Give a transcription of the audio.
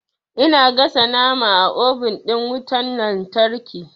Ina gasa nama a obin ɗin wutan lantarki.